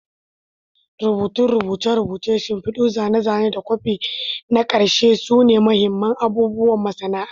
Rubutun rubuce-rubuce, shimfidu, zane-zane, da kwafi na ƙarshe sune mahimman abubuwan masana'anta.